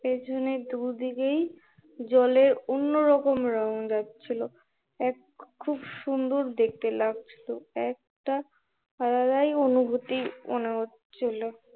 পেছনের দুদিকেই জলে অন্য রকম রং লাগছিলো, খুব সুন্দর দেখতে লাগছিলো, একটা আলাদাই অনুভুতি মনে হচ্ছিলো